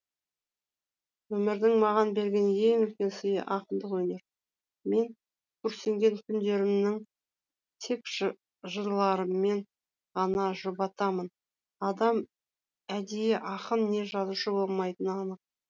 өмірдің маған берген ең үлкен сыйы ақындық өнер мен күрсінген күндерімнің тек жырларыммен ғана жұбатамын адам әдейі ақын не жазушы болмайтыны анық